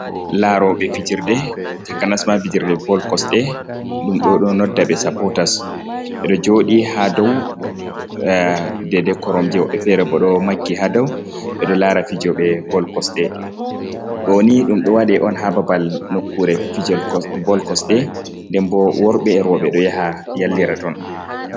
Laarooɓe fijirde, takanasma fijirde bol kosɗe, ɗum ɗo don nodda ɓe sapootas, be ɗo jooɗi haa dow daɗe koromje, woɓɓe feere bo ɗo maggi haa daw, ɓe ɗo laara fijooɓe bol kosɗe, ɗoo ni ɗum ɗo waɗe on haa babal nokkuure fijol bol kosɗe, nden bo worɓe e rooɓe ɗo yaha yallira ton.